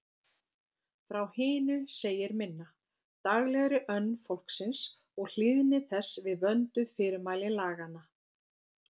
Frá hinu segir minna: daglegri önn fólksins og hlýðni þess við vönduð fyrirmæli laganna.